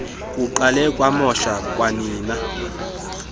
kuqale kwamosha kwanina